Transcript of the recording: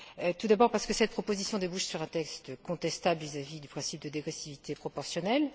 Tout d'abord, parce que cette proposition débouche sur un texte contestable vis à vis du principe de dégressivité proportionnelle.